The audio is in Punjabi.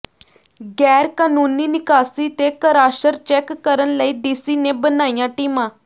ਗੈਰ ਕਾਨੂੰਨੀ ਨਿਕਾਸੀ ਤੇ ਕਰਾਸ਼ਰ ਚੈਕ ਕਰਨ ਲਈ ਡੀਸੀ ਨੇ ਬਣਾਈਆਂ ਟੀਮਾਂ